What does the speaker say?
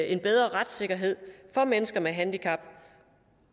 en bedre retssikkerhed for mennesker med handicap